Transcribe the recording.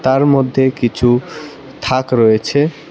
তার মধ্যে কিছু থাক রয়েছে।